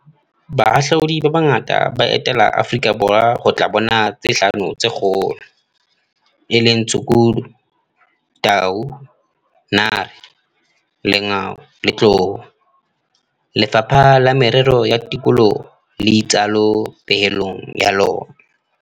"Bahahlaudi ba bangata ba etela Aforika Borwa ho tla bona tse Hlano tse Kgolo, e leng tshukudu, tau, nare, lengau le tlou," Lefapha la Merero ya Tikoloho le itsalo pehelong ya lona.